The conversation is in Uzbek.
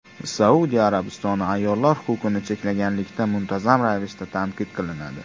Saudiya Arabistoni ayollar huquqlarini cheklaganlikda muntazam ravishda tanqid qilinadi.